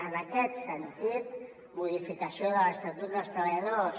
en aquest sentit modi·ficació de l’estatut dels treballadors